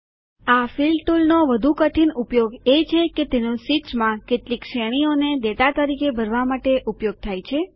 આ ફિલ ટુલનો વધુ કઠીન ઉપયોગ એ છે કે તેનો શીટ્સમાં કેટલીક શ્રેણીઓને ડેટા તરીકે ભરવા માટે ઉપયોગ થાય છે